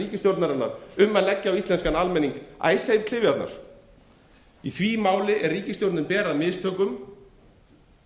okkur í þessa aðeins betri stöðu en við áttum von á í því máli er ríkisstjórnin ber að mistökum